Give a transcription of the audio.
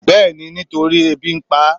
bẹẹni nítorí ebí n pá